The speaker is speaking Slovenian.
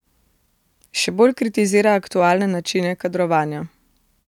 Še bolj kritizira aktualne načine kadrovanja.